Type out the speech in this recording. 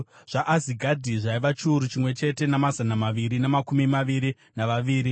zvaAzigadhi zvaiva chiuru chimwe chete namazana maviri namakumi maviri navaviri;